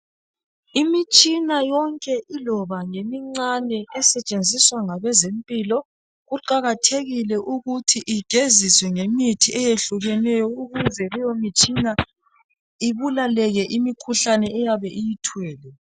Imitshina yonke iloba ngemincane esetshenziswa ngabezempilo kuqakathekile ukuthi igeziswe ngemithi eyehlukeneyo ukuze leyo mitshina ibulaleke imikhuhlane eyabe iyithwele.